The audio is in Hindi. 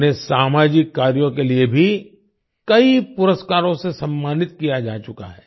उन्हें सामाजिक कार्यों के लिए भी कई पुरस्कारों से सम्मानित किया जा चुका है